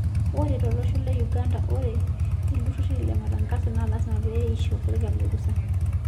Ore tolosho le Uganda, ore iltururi le matangaso naa lasima pee eisho serkali orusa.